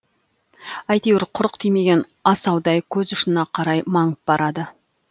әйтеуір құрық тимеген асаудай көз ұшына қарай маңып барады